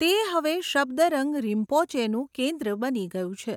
તે હવે શબ્દરંગ રિમ્પોચેનું કેન્દ્ર બની ગયું છે.